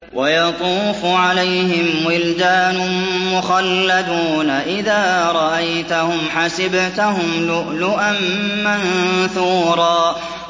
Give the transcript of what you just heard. ۞ وَيَطُوفُ عَلَيْهِمْ وِلْدَانٌ مُّخَلَّدُونَ إِذَا رَأَيْتَهُمْ حَسِبْتَهُمْ لُؤْلُؤًا مَّنثُورًا